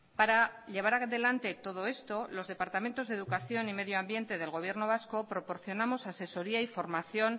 para llevar adelante todo esto los departamentos de educación y medio ambiente del gobierno vasco proporcionamos asesoría e formación